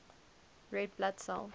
red blood cell